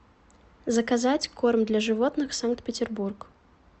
заказать корм для животных санкт петербург